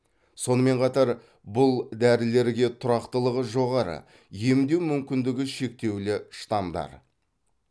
сонымен қатар бұл дәрілерге тұрақтылығы жоғары емдеу мүмкіндігі шектеулі штамдар